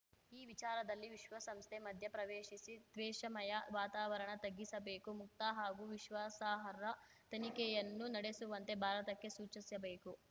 ಈ ವಿಚಾರದಲ್ಲಿ ವಿಶ್ವಸಂಸ್ಥೆ ಮಧ್ಯಪ್ರವೇಶಿಸಿ ತ್ವೇಷಮಯ ವಾತಾವರಣ ತಗ್ಗಿಸಬೇಕು ಮುಕ್ತ ಹಾಗೂ ವಿಶ್ವಾಸಾರ್ಹ ತನಿಖೆಯನ್ನು ನಡೆಸುವಂತೆ ಭಾರತಕ್ಕೆ ಸೂಚಿಸಬೇಕು